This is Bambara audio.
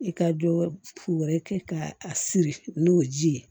I ka dɔ wɛrɛ kɛ ka a siri n'o ji ye